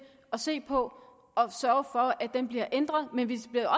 se på og sørge for at den bliver ændret men vi bliver